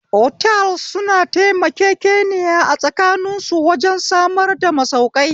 Otals suna taimakekeniya a tsakanin su wajen samar da masaukai